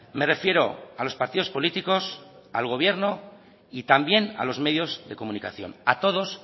me refiero a los partidos políticos al gobierno y también a los medios de comunicación a todos